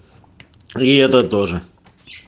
и это тоже